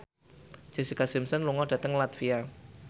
Jessica Simpson lunga dhateng latvia